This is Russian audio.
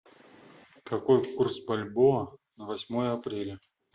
какой курс бальбоа на восьмое апреля